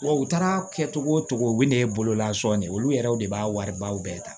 Wa u taara kɛ cogo o cogo u bɛ na ye bololasɔn de ye olu yɛrɛw de b'a wariba bɛɛ ta